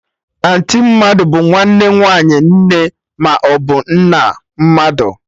Anti mmadụ bụ nwanne nwaanyị nne maọbụ nna mmadụ